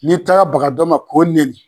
N'i taara baga dɔ ma k'o nɛni